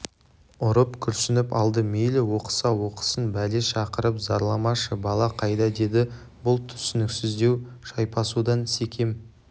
ұрып күрсініп алды мейлі оқыса оқысын бәле шақырып зарламашы бала қайда деді бұл түсініксіздеу шайпасудан секем